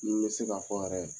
Nin bɛ se ka fɔ yɛrɛ